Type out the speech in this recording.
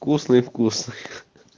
вкусный вкусный